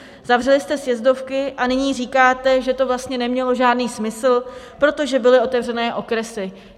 Zavřeli jste sjezdovky a nyní říkáte, že to vlastně nemělo žádný smysl, protože byly otevřené okresy.